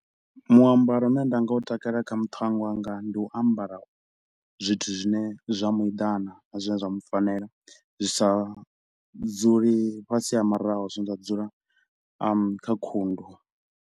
Muambaro u ne nda nga u takala kha muthannga wanga ndi u ambara zwithu zwine zwa muedana na zwine zwa mufanela, zwi sa dzuli fhasi ha maraho zwine zwa dzula kha khundu.